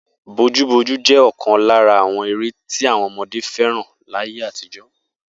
Bojúbojú jé̩ ò̩kan lára àwo̩n eré tí àwo̩n o̩mo̩dé fé̩ràn láyé àtijó̩